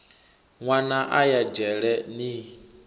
nwana a ya dzhele ni